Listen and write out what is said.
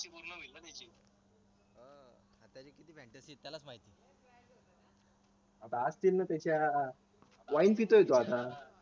आता असतील ना त्याच्या wine पितोय तो आता